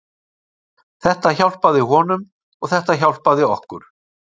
Þetta hjálpaði honum og þetta hjálpaði okkur.